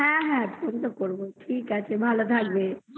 হ্যা হ্যা phone করবো ভালো থাকবে